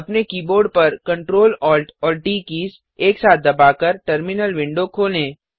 अपने कीबोर्ड पर Ctrl Alt और ट कीज एक साथ दबाकर टर्मिनल विंडो खोलें